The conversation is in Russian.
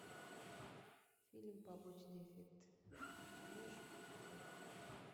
фильм побочный эффект ты можешь показать